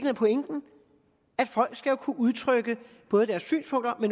er pointen at folk skal kunne udtrykke både deres synspunkter og